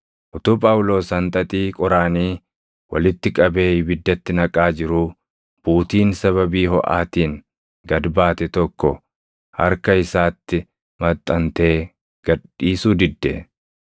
Utuu Phaawulos hanxaxii qoraanii walitti qabee ibiddatti naqaa jiruu buutiin sababii hoʼaatiin gad baate tokko harka isaatti maxxantee gad dhiisuu didde.